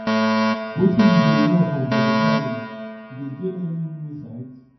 wetin you dey learn from volunteering you dey gain any new insight